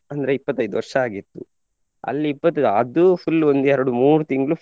ಅಂದ್ರೆ ಇಪ್ಪತೈದು ವರ್ಷಾಗಿತ್ತು ಅಲ್ಲಿ ಇಪ್ಪತೈದು ಅದು full ಒಂದು ಎರಡು ಮೂರು ತಿಂಗ್ಳು.